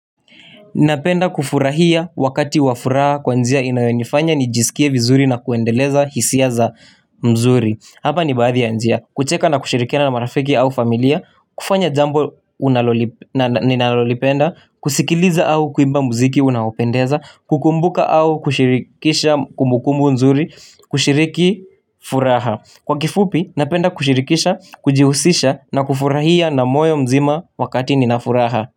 Napenda kufurahia wakati wa furaha kwa njia inayonifanya nijisikie vizuri na kuendeleza hisia za mzuri Hapa ni baadhi ya njia, kucheka na kusherekea na marafiki au familia, kufanya jambo unaloli ninalolipenda, kusikiliza au kuimba muziki unaopendeza, kukumbuka au kushirikisha kumbukumbu nzuri, kushiriki furaha Kwa kifupi, napenda kushirikisha, kujihusisha na kufurahia na moyo mzima wakati ninafuraha.